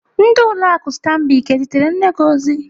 Ndị ụlọ akụ Stambic ezitere nne gi ozi?